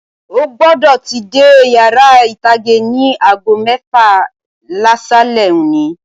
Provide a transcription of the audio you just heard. O gbọdọ tí dé yàrá itage ní aago mẹfa l'asalẹ̀ òní.